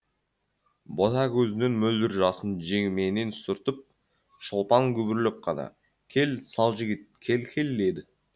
бота көзінен мөлдір жасын жеңіменен сүртіп шолпан күбірлеп қана кел сал жігіт кел кел деді